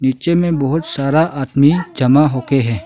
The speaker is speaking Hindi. पिक्चर मे बहुत सारा आदमी जमा हो के है।